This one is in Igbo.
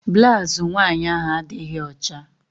Blaụzụ nwaanyị ahụ adịghị ọcha.